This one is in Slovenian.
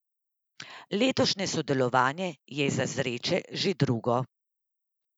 Letošnje sodelovanje je za Zreče že drugo.